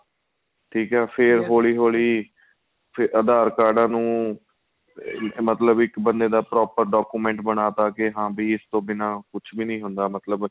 ਠੀਕ ਏ ਫ਼ੇਰ ਹੋਲੀਂ ਹੋਲੀਂ aadhar ਕਾਰਡਾਂ ਨੂੰ ਮਤਲਬ ਇੱਕ ਬੰਦੇ ਦਾ proper document ਬਣਾਤਾ ਕੇ ਹਾਂ ਵੀ ਇਸ ਤੋ ਬਿਨਾਂ ਕੁੱਛ ਵੀ ਨਹੀਂ ਹੁੰਦਾ ਮਤਲਬ